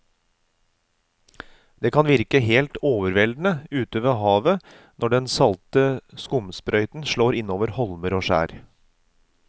Det kan virke helt overveldende ute ved havet når den salte skumsprøyten slår innover holmer og skjær.